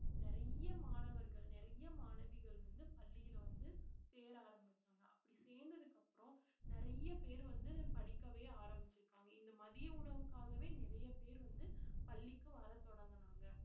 நிறைய மாணவர்கள் நிறைய மாணவிகள் வந்து பள்ளியில வந்து சேர ஆரம்பிச்சாங்க அப்படி சேர்ந்ததுக்கு அப்புறம் நிறைய பேர் வந்து நான் படிக்கவே ஆரம்பிச்சிருக்காங்க இந்த மதிய உணவுக்காகவே நிறைய பேர் வந்து பள்ளிக்கு வரத் தொடங்கினாங்க